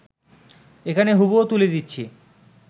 এখানে হুবহু তুলে দিচ্ছি